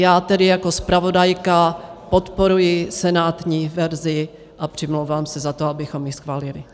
Já tedy jako zpravodajka podporuji senátní verzi a přimlouvám se za to, abychom ji schválili.